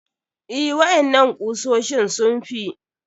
Eh, waƴannan kusoshin sun fi.